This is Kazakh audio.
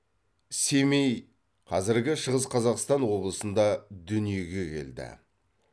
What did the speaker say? семей қазіргі шығыс қазақстан облысында дүниеге келді